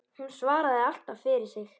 Hún svaraði alltaf fyrir sig.